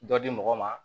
Dɔ di mɔgɔ ma